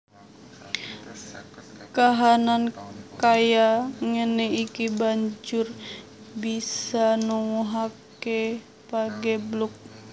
Kahanan kaya ngéné iki banjur bisa nuwuhaké pageblug